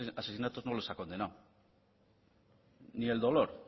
asesinatos no los ha condenado ni el dolor